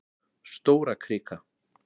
Stórakrika